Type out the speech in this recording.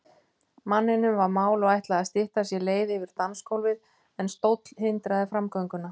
Manninum var mál og ætlaði að stytta sér leið yfir dansgólfið, en stóll hindraði framgönguna.